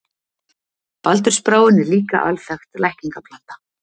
Baldursbráin er líka alþekkt lækningaplanta.